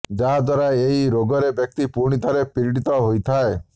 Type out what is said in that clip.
ଯାହା ଦ୍ୱାରା ଏହି ରୋଗରେ ବ୍ୟକ୍ତି ପୁଣିଥରେ ପୀଡ଼ିତ ହୋଇଥାଏ